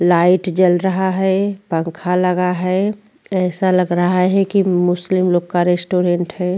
Light जल रहा है पंखा लगा है ऐसा लग रहा है की मुस्लिम लोक का स्टोरेन्त है।